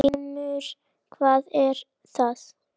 GRÍMUR: Hvað var það?